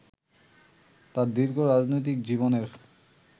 তাঁর দীর্ঘ রাজনৈতিক জীবনের